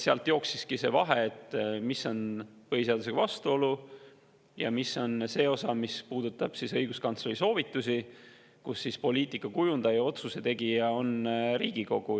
Sealt jooksiski see vahe, et mis põhiseadusega vastuolu ja mis on see osa, mis puudutab õiguskantsleri soovitusi poliitika kujundajale, kui otsuse tegija on Riigikogu.